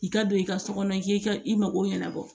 I ka don i ka so kɔnɔ k'i ka i mago ɲɛnabɔ